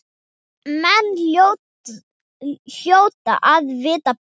Menn hljóta að vita betur.